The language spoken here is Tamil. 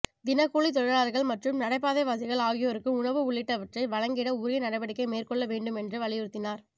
தினக்கூலித் தொழிலாளர்கள் மற்றும் நடைப்பாதைவாசிகள் ஆகியோருக்கு உணவு உள்ளிட்டவற்றை வழங்கிட உரிய நடவடிக்கை மேற்கொள்ள வேண்டும் என்று வலியுறுத்தினார்